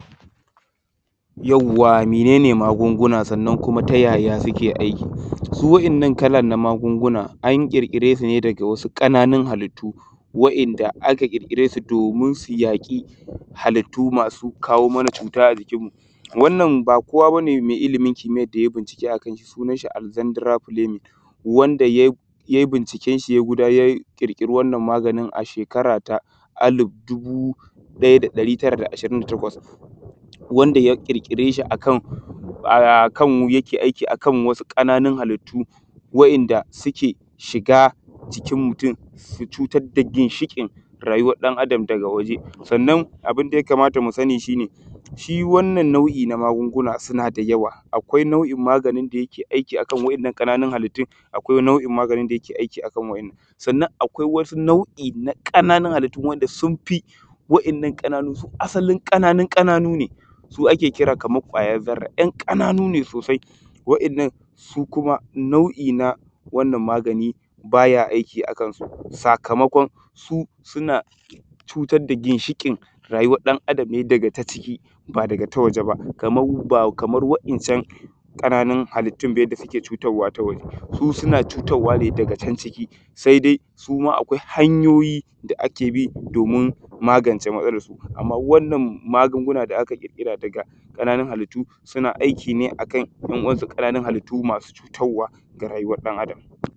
Yauwa mene magunguna kuma ya suke aiki su wayannan kalan na magunguna an ƙirkiresu ne da ƙananun halitu wanda aka ƙirkire su domin su kare mana cuta a jikinmu wannan ba kowa ba ne mɛ ilimin kimiyan da yayi bincike alzendira binin wanda ya yi binciken shi ya ƙirkire wannan maganin shekkara ta dubu daya da chasa'in da ashirin da takwas 1928 wanda ya ƙirkire shi yake aiki akalin wasu ƙananun halitu wanda suke shiga jikin mutun su cutar da ginshiƙin rayuwan ɗan adam farawa jikin abin da ya kamata mu sani shi wannan nau’i na magunguna suan da yawa raakawa nau’i na maganin da yake aiki a ahalin wannan ƙananun halitun akwai aksarin ƙananun ƙananuwe su ake kira kamar kwayan zarra yan ƙananunwa yannan su kuma nau’i na wannan maganin ba ya aiki akansu kama su suna fitar da ginshiƙin rayuwan ɗan adam ne daka ta ƙici ƙa ta waje ba kama ba kaman wayan can ƙananun halitun da suke cutarwa ne farawa canciki saidai suma akwai amfani hanyoyi da ake bi domin magance matsalansu amma wannan magunguna da aka ƙirkire da na ƙananun halitu suna aiki akalin yan’uwansu ƙananun halitu mai cutarwa ga rayuwan ɗan adam